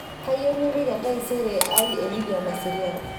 kayieu nipik entaisere ai e lydia naserian